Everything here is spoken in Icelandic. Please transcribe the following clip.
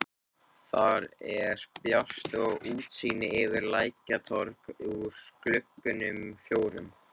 Þar er bjart og útsýni yfir Lækjartorg úr gluggunum fjórum.